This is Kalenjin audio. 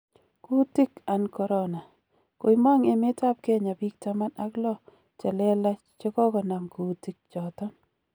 Kuutik an corona: Koimong emet ab Kenya biik taman ak loo chelelach chegogonam kuutik choton.